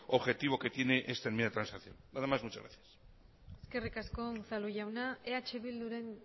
objetivo que tiene esta enmienda de transacción nada más muchas gracias eskerrik asko unzalu jauna eh bilduren